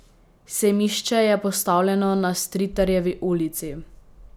Sejmišče je postavljeno na Stritarjevi ulici.